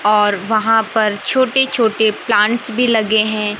और वहां पर छोटे छोटे प्लांट्स भी लगे हैं।